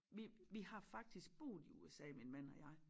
Vi vi har faktisk boet i USA min man og jeg